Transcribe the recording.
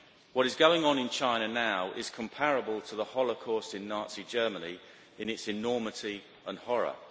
What is going on in China now is comparable to the Holocaust in Nazi Germany in its enormity and horror.